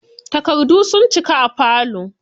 Takardu sun cika falo.